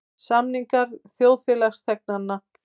Samningar þjóðfélagsþegnanna.